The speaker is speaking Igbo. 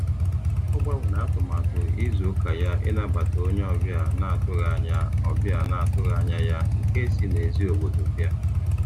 Ọ gbanwere atụmatụ izu ụka ya ịnabata onye ọbịa na-atụghị anya ọbịa na-atụghị anya ya nke si n'èzí obodo bịa.